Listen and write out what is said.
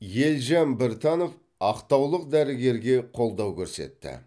елжан біртанов ақтаулық дәрігерге қолдау көрсетті